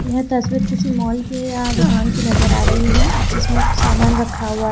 यह तस्वीर किसी मॉल की या दुकान की नजर आ रही है जिसमें सामान रखा हुआ--